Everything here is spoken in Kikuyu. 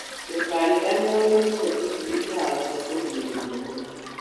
Ndũkariganĩrwo nĩkuhe tũcui ndawa cia kũrigĩrĩrĩa mĩrimũ.